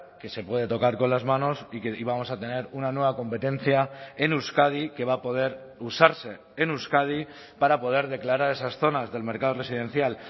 que se puede tocar con las manos y que y vamos a tener una nueva competencia en euskadi que va a poder usarse en euskadi para poder declarar esas zonas del mercado residencial